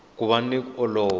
ku va ni ku olova